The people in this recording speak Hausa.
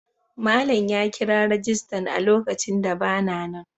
Malam ya kira rajistan a lokacin da ba na nan.